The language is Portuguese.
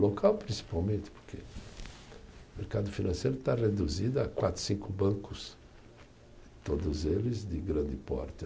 Local principalmente porque o mercado financeiro está reduzido a quatro, cinco bancos, todos eles de grande porte.